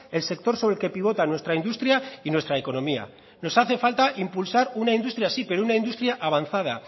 el sector sobre el que pivotan nuestra industria y nuestra economía nos hace falta impulsar una industria sí pero una industria avanzada